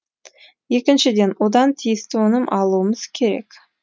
екіншіден одан тиісті өнім алуымыз керек